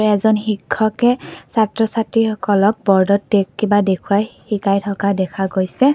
এজন শিক্ষকে ছাত্ৰ ছাত্ৰীসকলক বোৰ্ডত দে কিবা দেখুৱাই শিকাই থকা দেখা গৈছে।